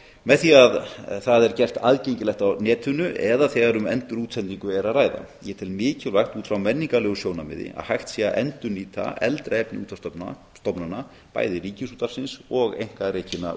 með því að það er gert aðgengilegt á netinu eða þegar um endurútsendingu er að ræða ég tel mikilvægt út frá menningarlegu sjónarmiði að hægt sé að endurnýta eldra efni útvarpsstofnana bæði ríkisútvarpsins og einkarekinna